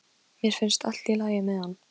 Pabbi, hvað hafði hann sagt mér frá sjálfum sér?